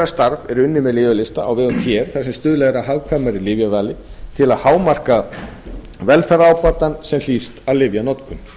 starf er unnið með lyfjalista á vegum tr þar sem stuðlað er að hagkvæmari lyfjavali til að hámarka velferðarábatann sem hlýst af lyfjanotkun